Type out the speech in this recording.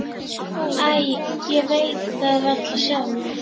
Æ, ég veit það valla sjálf.